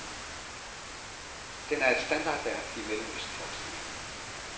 Den er et standardværk i mellemøstforskningen.